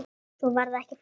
Svo var það ekki fleira.